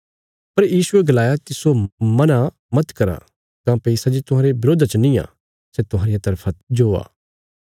पर यीशुये गलाया तिस्सो मना मत करा काँह्भई सै जे तुहांरे बरोधा च नींये सै तुहांरिया तरफा जो ये